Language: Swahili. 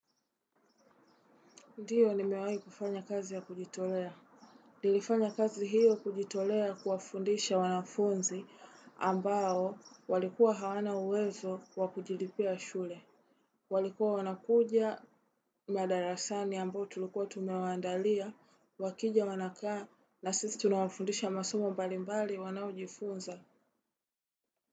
Ndiyo nimewai kufanya kazi ya kujitolea. Nilifanya kazi hiyo kujitolea kuwafundisha wanafunzi ambao walikuwa hawana uwezo kwa kujilipia shule. Walikuwa wanakuja madarasani ambao tulikuwa tumewandalia wakija wanakaa na sisi tunawafundisha masomo mbalimbali wanaojifunza.